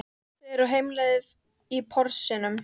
Þau eru á heimleið í Porsinum.